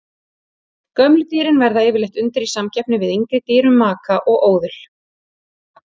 Gömlu dýrin verða yfirleitt undir í samkeppni við yngri dýr um maka og óðul.